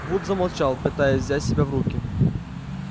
вуд замолчал пытаясь взять себя в руки